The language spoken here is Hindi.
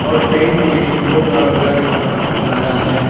और पेंट के डिब्बो का कलर काफी सारा है।